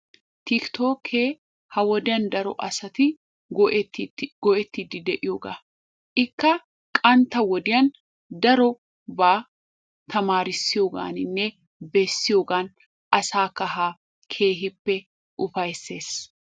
Tikkittookke ha wodiyan daro asati go'ettiidi de'iyoga. Ikka qantta wodiyan darobaa tamaarissiyogaaninne bessiyogan asaa kaha keehippe ufayssees.